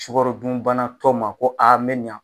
Sukarodunbanatɔ ma ko a mɛ